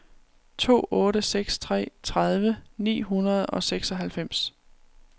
to otte seks tre tredive ni hundrede og seksoghalvfems